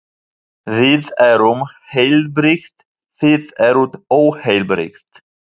Við erum heilbrigð, þið eruð óheilbrigð.